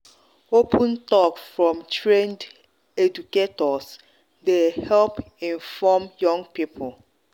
open talk from trained educators dey help inform young people.